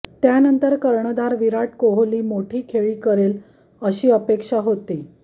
त्यानंतर कर्णधार विराट कोहली मोठी खेळी करेल अशी अपेक्षा होती